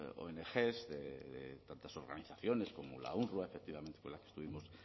ongs y tantas organizaciones como la efectivamente con la que estuvimos